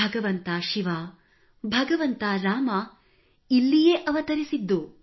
ಭಗವಂತ ಶಿವ ಭಗವಂತ ರಾಮ ಇಲ್ಲಿಯೇ ಅವತರಿಸಿದ್ದು